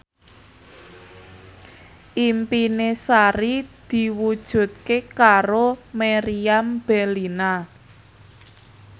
impine Sari diwujudke karo Meriam Bellina